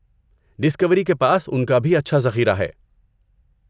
Discovery کے پاس ان کا بھی اچھا ذخیرہ ہے۔